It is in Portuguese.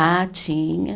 Ah, tinha.